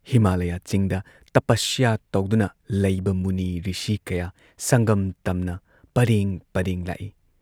ꯍꯤꯃꯥꯂꯌ ꯆꯤꯡꯗ ꯇꯄꯁ꯭ꯌ ꯇꯧꯗꯨꯅ ꯂꯩꯕ ꯃꯨꯅꯤ, ꯔꯤꯁꯤ ꯀꯌꯥ ꯁꯪꯒꯝ ꯇꯝꯅ ꯄꯔꯦꯡ ꯄꯔꯦꯡ ꯂꯥꯛꯏ ꯫